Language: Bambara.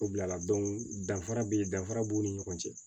O bila la danfara be ye danfara b'u ni ɲɔgɔn cɛ